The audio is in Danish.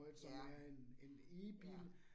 Ja, ja